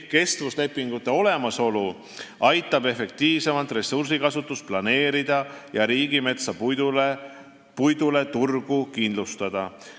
Kestvuslepingute olemasolu aitab efektiivsemalt ressursikasutust planeerida ja riigimetsa puidule turgu kindlustada.